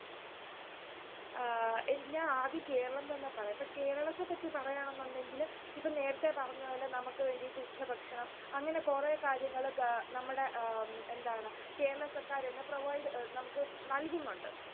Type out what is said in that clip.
ആഹ് ഞാൻ ആദ്യം കേരളം തന്നെ പറയാം. കേരളത്തെപ്പറ്റി പറയാണെന്നുണ്ടെങ്കിൽ ഇപ്പൊ നേരത്തെ പറഞ്ഞപോലെ നമുക്ക് വേണ്ടിട്ട് ഉച്ചഭക്ഷണം അങ്ങനെ കൊറേ കാര്യങ്ങൾ നമ്മുടെ എന്താണ് കേരള സർക്കാർ തന്നെ provide നമുക്ക് നൽകുന്നുണ്ട്.